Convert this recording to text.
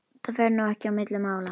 Það fer nú ekki á milli mála